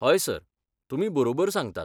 हय सर, तुमी बरोबर सांगतात.